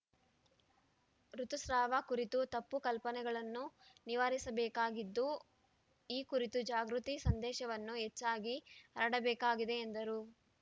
ಋುತುಸ್ರಾವ ಕುರಿತು ತಪ್ಪು ಕಲ್ಪನೆಗಳನ್ನು ನಿವಾರಿಸಬೇಕಾಗಿದ್ದು ಈ ಕುರಿತು ಜಾಗೃತಿ ಸಂದೇಶವನ್ನು ಹೆಚ್ಚಾಗಿ ಹರಡಬೇಕಾಗಿದೆ ಎಂದರು